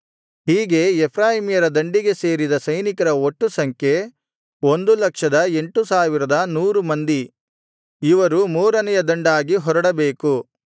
ಹೀಗೆ ಎಫ್ರಾಯೀಮ್ಯರ ದಂಡಿಗೆ ಸೇರಿದ ಸೈನಿಕರ ಒಟ್ಟು ಸಂಖ್ಯೆ 108100 ಮಂದಿ ಇವರು ಮೂರನೆಯ ದಂಡಾಗಿ ಹೊರಡಬೇಕು